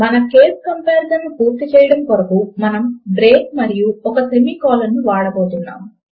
మన case comparison ను పూర్తి చేయడము కొరకు మనము బ్రేక్ మరియు ఒక సెమి కోలోన్ లను వాడబోతున్నాము